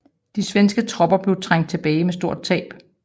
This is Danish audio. De svenske tropper blev trængt tilbage med store tab